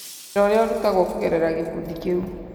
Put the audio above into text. Wĩra ũrĩa ũrutagwo kũgerera gĩkundi kĩu.